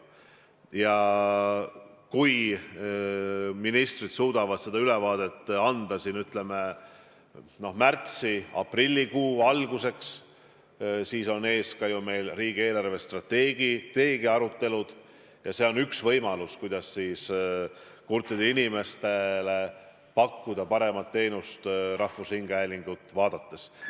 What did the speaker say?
Ja kui ministrid suudavad selle ülevaate anda märtsi- või aprillikuu alguseks, siis on meil ees riigi eelarvestrateegia arutelud ja see on üks võimalus pakkuda kurtidele inimestele paremat teenust rahvusringhäälingu saateid jälgides.